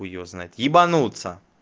хуй его знает ебанутся